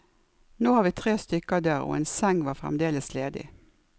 Nå var vi tre stykker der, og en seng var fremdeles ledig.